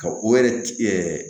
Ka o yɛrɛ ci